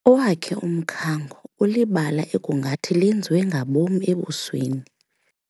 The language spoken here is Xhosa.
Owakhe umkhango ulibala ekungathi lenziwe ngabom ebusweni.